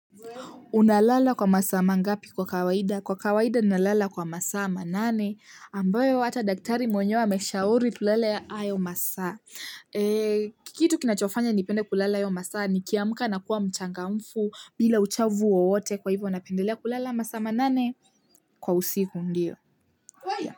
Unalala kwa masaa mangapi kwa kawaida? Kwa kawaida nalala kwa masaa manane ambayo hata daktari mwenyewe ameshauri kulala hayo masaa. Kitu kinachofanya nipende kulala hayo masaa nikiamka na kuwa mchangamfu bila uchovu wowote kwa hivyo napendelea kulala masaa manane kwa usiku ndio.